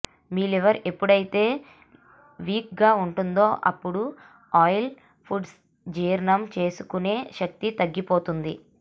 మీ liver ఎప్పుడైతే weak గా ఉంటుందో అప్పుడు ఆయిల్ ఫుడ్స్ జీర్ణం చేసుకొనే శక్తి తగ్గిపోతుంది